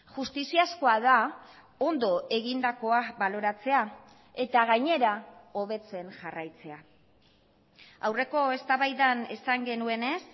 justiziazkoa da ondo egindakoa baloratzea eta gainera hobetzen jarraitzea aurreko eztabaidan esan genuenez